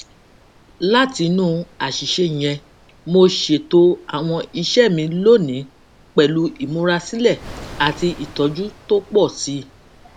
látinú àṣìṣe yẹn mo ṣètò àwọn iṣẹ mi lónìí pẹlú ìmúrasílẹ àti ìtọjú tó pọ sí i